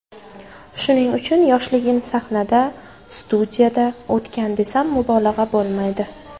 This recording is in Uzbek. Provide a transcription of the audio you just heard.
Shuning uchun yoshligim sahnada, studiyada o‘tgan desam, mubolag‘a bo‘lmaydi.